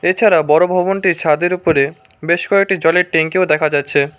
এছাড়াও বড়ো ভবনটির ছাদের উপরে বেশ কয়েকটি জলের টেঙ্কিও দেখা যাচ্ছে।